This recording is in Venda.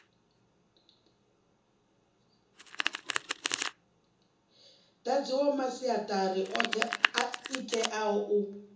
dadziwaho masiatari othe itea u